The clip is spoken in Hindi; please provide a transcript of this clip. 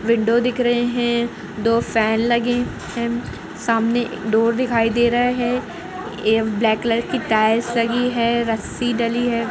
विंडो दिख रहे है दो फैन लगे है सामने डोर दिखाई दे रहा है एम ब्लैक कलर की टाइल्स लगी है रस्सी डली है।